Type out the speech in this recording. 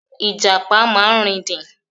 Ìjàpá máa ń rìndìn.